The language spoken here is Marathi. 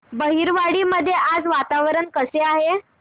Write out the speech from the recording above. बहिरवाडी मध्ये आज वातावरण कसे आहे